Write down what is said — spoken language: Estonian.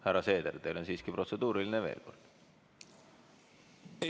Härra Seeder, kas teil on veel üks protseduuriline küsimus?